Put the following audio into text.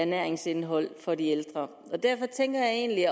næringsindhold for de ældre derfor tænker jeg egentlig